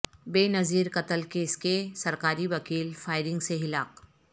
بے نظیر قتل کیس کے سرکاری وکیل فائرنگ سے ہلاک